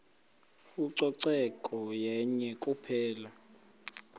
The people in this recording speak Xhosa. ucoceko yenye kuphela